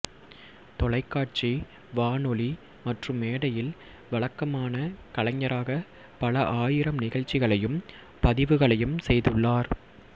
தொலைக்காட்சி வானொலி மற்றும் மேடையில் வழக்கமான கலைஞராக பல ஆயிரம் நிகழ்ச்சிகளையும் பதிவுகளையும் செய்துள்ளார்